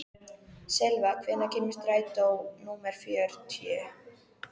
Silva, hvenær kemur strætó númer fjörutíu?